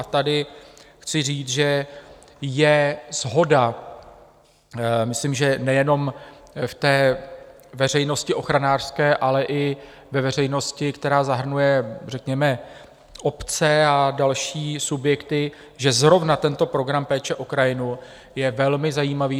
A tady chci říct, že je shoda, myslím, že nejenom ve veřejnosti ochranářské, ale i ve veřejnosti, která zahrnuje řekněme obce a další subjekty, že zrovna tento program péče o krajinu je velmi zajímavý.